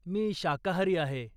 मी शाकाहारी आहे.